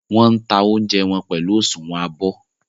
Wọ́n ń ta oúnjẹ wọn pẹ̀lú òsùnwọ́n abọ́.